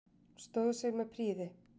Stóð sig með prýði.